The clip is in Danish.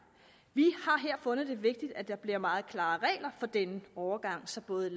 vi har her fundet det vigtigt at der bliver meget klare regler for denne overgang så både